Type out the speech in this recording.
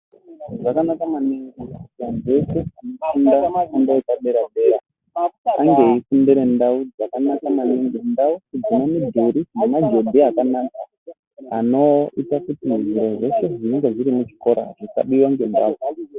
Zvakanaka maningi kuti vantu vese vanofunda fundo yepadera dera ange eifundira mundau dzakanaka maningi ndau dzine mudhuri nemagedhi akanaka anoita kuti zviro zveshe zvinenge zviri muchikora zvisabiwa ngembavha.